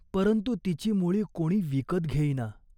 परंतु त्या वर्षी दुष्काळ आला. कित्येक वर्षात असा दुष्काळ पडला नव्हता.